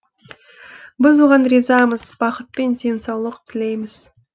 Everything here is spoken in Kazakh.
біз оған ризамыз бақыт пен денсаулық тілейміз